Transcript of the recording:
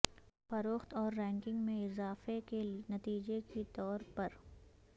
فروخت اور رینکنگ میں اضافہ کے نتیجے کے طور پر